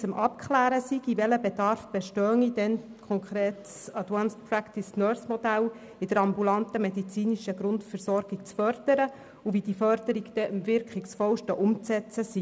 Es ging damals konkret um die Förderung des Modells Advanced Nursing Practice in der ambulanten medizinischen Grundversorgung und darum, wie die Förderung am wirkungsvollsten umzusetzen sei.